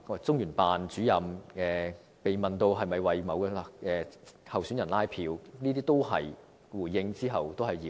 中聯辦主任被問及有否為某位候選人拉票時，回應指那都是謠言。